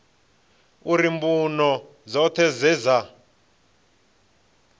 uri mbuno dzoṱhe dze dza